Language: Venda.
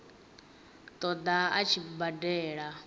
ṱo ḓa a tshi badela